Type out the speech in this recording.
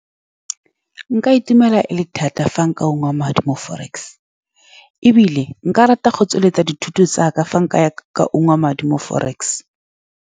Nka itumela thata fa nka ungwa madi mo forex, ebile nka rata go tsweletsa dithuto tsa ka fa nka ya ka ungwa madi mo forex.